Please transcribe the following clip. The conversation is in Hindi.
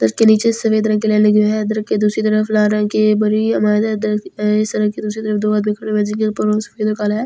के नीचे सफेद रंग की लाइन लगी हुई है के दूसरी तरफ लाल रंग की बनी सड़क के दूसरी तरफ दो आदमी खड़े हुए हैं जिनके ऊपर सफेद और काला है।